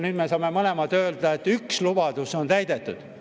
Nüüd me saame mõlemad öelda, et üks lubadus on täidetud.